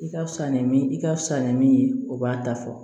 I ka fisa ni min i ka fisa ni min ye o b'a da fɔ